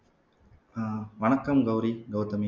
அஹ் வணக்கம் கௌரி கௌதமி